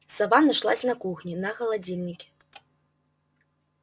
сова нашлась на кухне на холодильнике